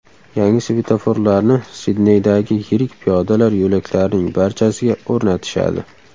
Yangi svetoforlarni Sidneydagi yirik piyodalar yo‘laklarining barchasiga o‘rnatishadi.